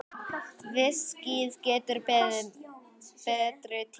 Viskíið getur beðið betri tíma.